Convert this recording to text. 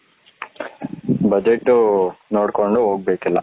budget ನೋಡ್ಕೊಂಡ್ ಹೋಗಬೇಕು ಎಲ್ಲ